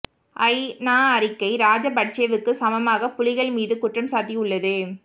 அய் நா அறிக்கை இராஜபட்சேவுக்கு சமமாக புலிகள் மீதும் குற்றம் சாட்டியுள்ளது